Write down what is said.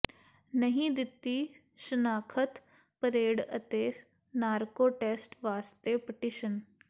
ਨਹੀਂ ਦਿੱਤੀ ਸ਼ਨਾਖਤ ਪਰੇਡ ਅਤੇ ਨਾਰਕੋ ਟੈਸਟ ਵਾਸਤੇ ਪਟੀਸ਼ਨ